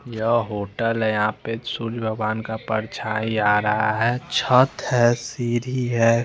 यह होटल है यहाँ पे सूर्य भगवान का परछाई आ रहा है छत है सीढी है।